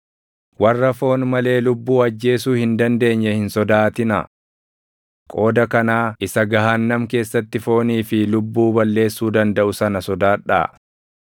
Warra foon malee lubbuu ajjeesuu hin dandeenye hin sodaatinaa. Qooda kanaa Isa gahaannam keessatti foonii fi lubbuu balleessuu dandaʼu sana sodaadhaa.